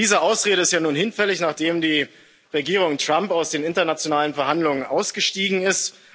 Diese Ausrede ist ja nun hinfällig, nachdem die Regierung Trump aus den internationalen Verhandlungen ausgestiegen ist.